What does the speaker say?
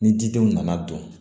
Ni jidenw nana don